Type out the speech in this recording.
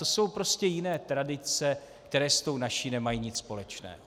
To jsou prostě jiné tradice, které s tou naší nemají nic společné.